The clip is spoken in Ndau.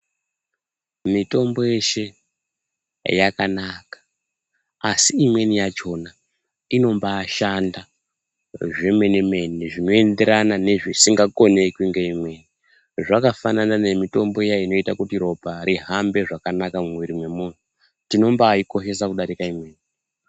Mitombo yeshe yakanaka asi imweni yachona inombaashanda zvemenemene zvinoenderana ne zvisingakonekwi ngeimweni ,zvakafanana nemitombo iya inoita kuti ropa rihambe zvakanaka mumwiri remunhu tinobaakoshesa kudarika imweni.